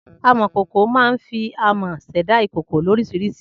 Amòkòkò ma ń fi amò sèdá ìkòkò lórísirísi